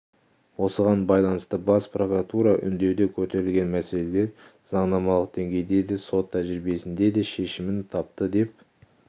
осыған байланысты бас прокуратура үндеуде көтерілген мәселелер заңнамалық деңгейде де сот тәжірибесінде де шешімін тапты деп